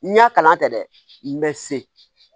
N y'a kalan kɛ dɛ n mɛ se